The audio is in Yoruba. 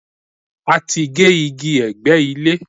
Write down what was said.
We cut the trees surrounding the house